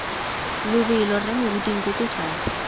lobelo rre moruti nkoko fale